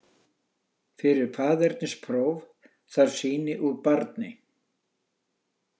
Fyrir faðernispróf þarf sýni úr barni.